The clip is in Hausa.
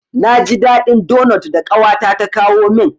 Na ji daɗin donot da ƙawata ta kawo min.